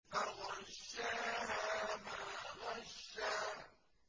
فَغَشَّاهَا مَا غَشَّىٰ